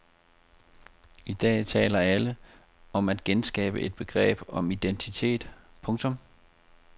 I dag taler alle om at genskabe et begreb om identiteten. punktum